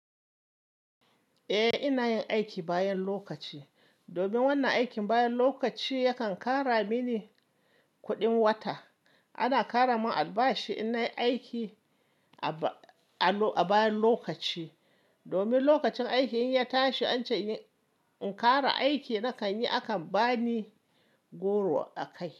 Eh, ina yin aiki bayan lokaci domin wannan aikin bayan lokaci yakan kara mini kuɗin wata. Ana kara mun albashi in na yi aiki a bayan lokaci domin lokacin aiki in ya tashi, ance in kara aiki na kan yi, akan bani goro a kai.